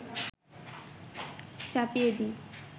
চাপিয়ে দিই